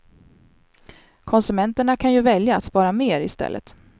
Konsumenterna kan ju välja att spara mer i stället.